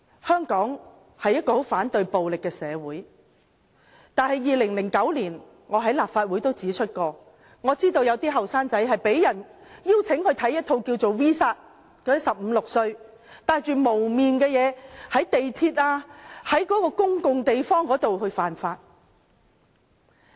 香港是一個非常反對暴力的社會，但我曾在2009年立法會會議上指出，我知道有一些年青人被邀請觀看 "V 煞"的電影，片中那些15歲、16歲的人戴着面具，在地鐵或公共地方犯法。